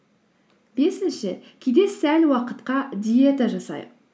бесінші кейде сәл уақытқа диета жасайық